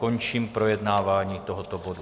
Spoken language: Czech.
Končím projednávání tohoto bodu.